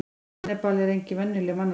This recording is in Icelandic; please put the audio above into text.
hannibal er engin venjuleg mannæta